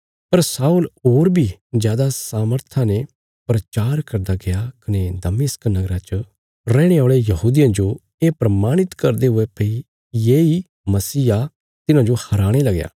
पर शाऊल होर बी जादा सामर्था ने प्रचार करदा गया कने दमिश्क नगरा च रैहणे औल़े यहूदियां जो ये प्रमाणित करदे हुये भई येई मसीह आ तिन्हांजो हराणे लगया